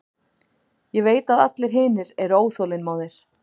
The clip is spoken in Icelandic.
Ég veit að allir hinir eru óþolinmóðir.